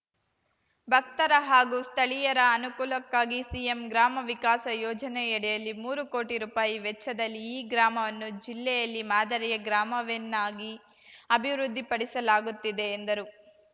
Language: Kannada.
ಭಕ್ತರ ಹಾಗೂ ಸ್ಥಳೀಯರ ಅನುಕೂಲಕ್ಕಾಗಿ ಸಿಎಂ ಗ್ರಾಮ ವಿಕಾಸ ಯೋಜನೆಯಡಿಲ್ಲಿ ಮೂರು ಕೋಟಿ ರೂಪಾಯಿ ವೆಚ್ಚದಲ್ಲಿ ಈ ಗ್ರಾಮವನ್ನು ಜಿಲ್ಲೆಯಲ್ಲಿ ಮಾದರಿಯ ಗ್ರಾಮವೆನ್ನಾಗಿ ಅಭಿವೃದ್ದಿಪಡಿಸಲಾಗುತ್ತಿದೆ ಎಂದರು